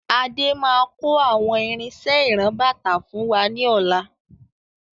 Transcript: Adé máà kò àwọn irinsẹ́ ìran-bàtà fún wa ní ọ̀la.